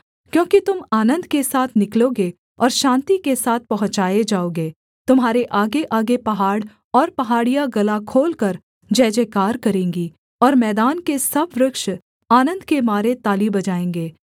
क्योंकि तुम आनन्द के साथ निकलोगे और शान्ति के साथ पहुँचाए जाओगे तुम्हारे आगेआगे पहाड़ और पहाड़ियाँ गला खोलकर जयजयकार करेंगी और मैदान के सब वृक्ष आनन्द के मारे ताली बजाएँगे